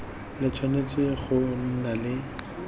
le tshwanetse go nna le